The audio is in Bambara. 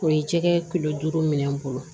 O ye jɛgɛ duuru minɛ n bolo